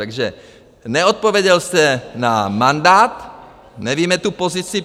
Takže neodpověděl jste na mandát, nevíme tu pozici.